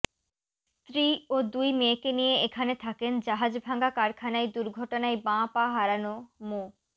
স্ত্রী ও দুই মেয়েকে নিয়ে এখানে থাকেন জাহাজভাঙা কারখানায় দুর্ঘটনায় বাঁ পা হারানো মো